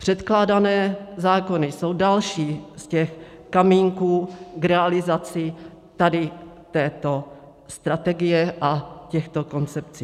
Předkládané zákony jsou další z těch kamínků k realizaci tady této strategie a těchto koncepcí.